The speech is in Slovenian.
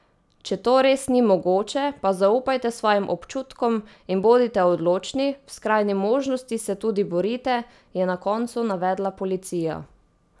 Če to res ni mogoče, pa zaupajte svojim občutkom in bodite odločni, v skrajni možnosti se tudi borite, je na koncu navedla policija.